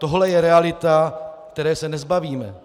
Tohle je realita, které se nezbavíme.